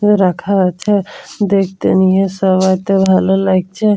এ রাখা আছে দেখতে নিয়ে সবাইকে ভালো লাইগছে।